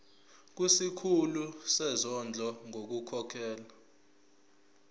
kusikhulu sezondlo ngokukhokhela